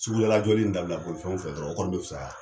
Sugula jɔli in dabila bolifɛnw fɛ dɔrɔn , o kɔni be fisaya .